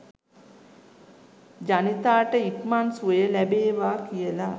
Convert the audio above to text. ජනිතාට ඉක්මන් සුවය ලැබේවා කියලා